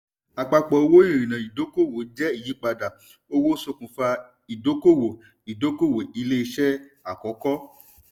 àpapọ̀ owó ìrìnà ìdọ́kowọ̀ jẹ́ ìyípadà owó ṣokunfa ìdọ́kowọ̀ ìdọ́kowọ̀ ilé iṣé àkókò.